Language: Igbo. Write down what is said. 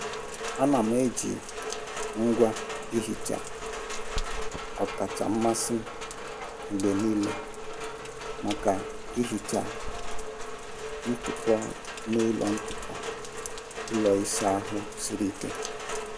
Ana m eji ngwa ihicha ọkacha mmasị m mgbe niile maka ihicha ntụpọ ụlọ ntụpọ ụlọ ịsa ahụ siri ike.